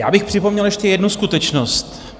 Já bych připomněl ještě jednu skutečnost.